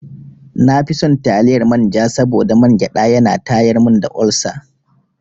Na fi son taliyar manja saboda mangyaɗa ya na tayar mun da olsa.